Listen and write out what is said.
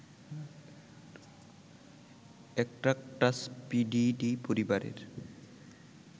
Atractaspididae পরিবারের